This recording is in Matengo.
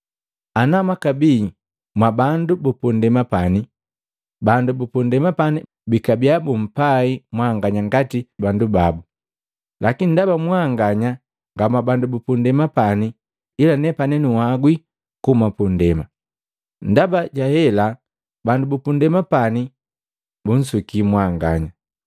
Ana mwakabii mwa bandu bupundema pani, bandu bupundema pani bakabiya bupai mwanganya ngati bandu babu, lakini ndaba mwanganya nga mwabandu bupundema pani ila nepani nuwagwi kuhuma pundema. Ndaba jahela bandu bupundema pani bunsuki mwanganya.